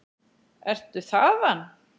Ertu þaðan?